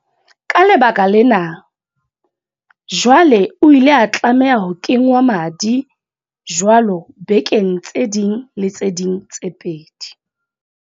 Ka lebaka lena, jwale o ile a tlameha ho kengwa madi jwalo bekeng tse ding le tse ding tse pedi.